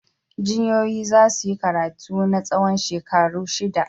Jinyoyoyi za su yi karatu na tsawon shekaru shida.